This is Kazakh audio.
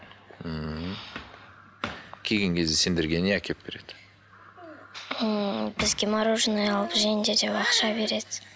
ммм келген кезде сендерге не әкеліп береді ммм бізге мороженое алып жеңдер деп ақша береді